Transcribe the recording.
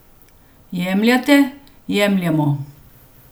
Jemljete, jemljemo.